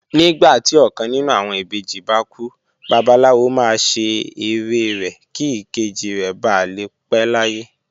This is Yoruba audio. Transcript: Nígbà tí ọkàn nínú àwọn ìbejì bá kú, Babaláwo máa ṣe ère rẹ̀ kí ìkejì rẹ̀ ba lè pé láyé